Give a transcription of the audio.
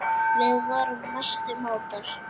Við vorum mestu mátar.